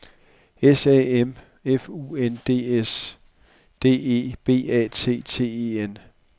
S A M F U N D S D E B A T T E N